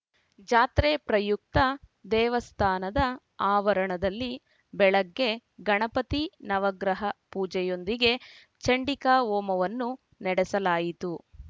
ಜಾತ್ರೆ ಪ್ರಯುಕ್ತ ದೇವಸ್ಥಾನದ ಆವರಣದಲ್ಲಿ ಬೆಳಗ್ಗೆ ಗಣಪತಿ ನವಗ್ರಹ ಪೂಜೆಯೊಂದಿಗೆ ಚಂಡಿಕಾಹೋಮವನ್ನು ನಡೆಸಲಾಯಿತು